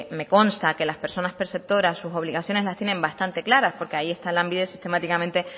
me consta que las personas perceptoras sus obligaciones las tienen bastante claras porque ahí está lanbide sistemáticamente